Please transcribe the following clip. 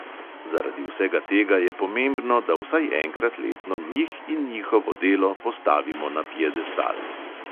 Zaradi vsega tega je pomembno, da vsaj enkrat letno njih in njihovo delo postavimo na piedestal.